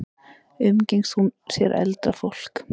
Umgengst hún sér eldra fólk?